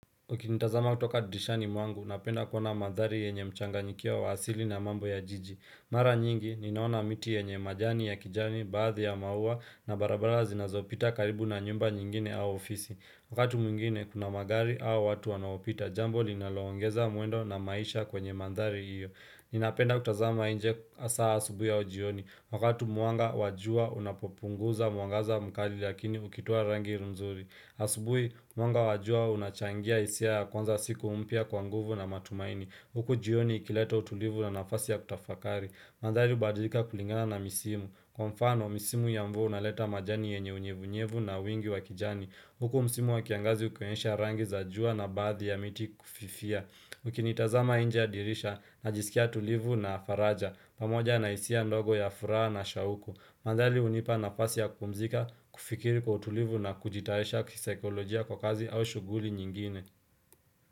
Ukinitazama kutoka dirishani mwangu, napenda kuona mandhari yenye mchanganyikio waasili na mambo ya jiji. Mara nyingi, ninaona miti yenye majani ya kijani baadhi ya maua na barabara zinazopita karibu na nyumba nyingine au ofisi. Wakati mwingine, kuna magari au watu wanaopita, jambo linaloongeza mwendo na maisha kwenye mandhari iyo. Ninapenda kutazama inje hasaa asubuhi au umjioni. Wakati mwanga wa jua unapopunguza mwangaza mkali lakini ukitua rangi nzuri. Asubuhi, mwanga wa jua unachangia hisia ya kwanza siku mpya kwa nguvu na matumaini Huku jioni ikileta utulivu na nafasi ya kutafakari mandhari hubadilika kulingana na misimu Kwa mfano, misimu ya mvua unaleta majani yenye unyevunyevu na wingi wakijani Huku msimu wa kiangazi ukionyesha rangi za jua na baadhi ya miti kufifia Ukinitazama nje dirisha najisikia tulivu na faraja pamoja na hisia ndogo ya furaha na shauku Mandari hunipa nafasi ya kupumzika, kufikiri kwa utulivu na kujitayarisha kisaikolojia kwa kazi au shughuli nyingine.